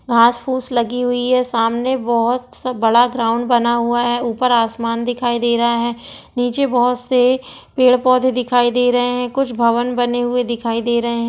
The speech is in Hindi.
घास फूस लगी हुई है। सामने बहुत सा बड़ा ग्राउंड बना हुआ है। ऊपर आसमान दिखाई दे रहा है। नीचे बहुत से पेड़ पौधे दिखाई दे रहे है । कुछ भवन बने हुए दिखाई दे रहे है।